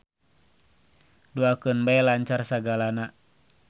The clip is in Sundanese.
Duakeun bae lancar sagalana.